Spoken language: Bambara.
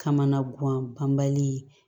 Kamana guwan panbali